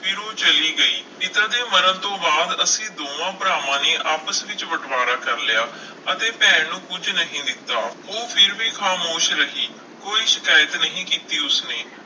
ਫਿਰ ਉਹ ਚਲੀ ਗਈ, ਪਿਤਾ ਦੇ ਮਰਨ ਤੋਂ ਬਾਅਦ ਅਸੀਂ ਦੋਹਾਂ ਭਰਾਵਾਂ ਨੇ ਆਪਸ ਵਿੱਚ ਬਟਵਾਰਾ ਕਰ ਲਿਆ, ਅਤੇ ਭੈਣ ਨੂੰ ਕੁੱਝ ਨਹੀਂ ਦਿੱਤਾ, ਉਹ ਫਿਰ ਵੀ ਖਾਮੋਸ਼ ਰਹੀ, ਕੋਈ ਸ਼ਿਕਾਇਤ ਨਹੀਂ ਕੀਤੀ ਉਸਨੇ।